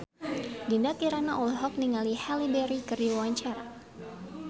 Dinda Kirana olohok ningali Halle Berry keur diwawancara